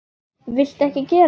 Viltu ekki gera það!